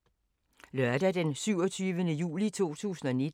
Lørdag d. 27. juli 2019